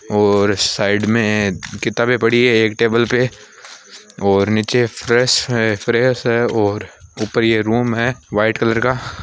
और साइड में किताबें पड़ी है एक टेबल पे और नीचे फ्रेश है फ्रेश है और ऊपरये रूम है वाइट कलर का।